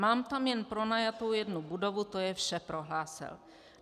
Mám tam jen pronajatou jednu budovu, to je vše, prohlásil.